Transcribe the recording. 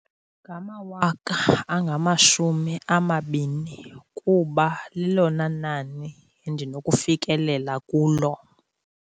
Ngamawaka angamashumi amabini kuba lilona nani endinokufikelela kulo.